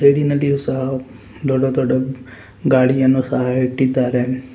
ರೇಡಿ ನಲ್ಲಿಯೂ ಸಹ ದೊಡ್ಡ ದೊಡ್ಡ ಗಾಡಿಯನ್ನು ಸಹ ಇಟ್ಟಿದ್ದಾರೆ.